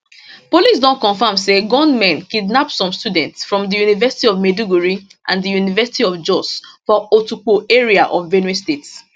police don confam say gunmen kidnap some students from di university of maiduguri and di university of jos for otukpo area of benue state